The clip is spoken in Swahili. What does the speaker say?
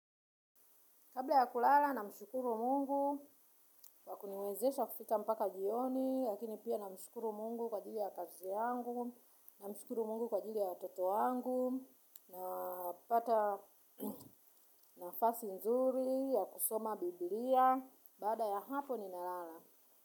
Kabla ya kulala namshukuru mungu, wa kuniwezesha kufika mpaka jioni, lakini pia namshukuru mungu kwa ajili ya kazi yangu, namshukuru mungu kwa ajili ya watoto wangu, napata nafasi nzuri, ya kusoma bibilia, baada ya hapo ninalala.